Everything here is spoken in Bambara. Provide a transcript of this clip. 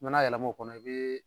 n'a yɛlɛ bo kɔnɔ, i bi